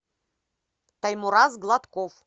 аймураз гладков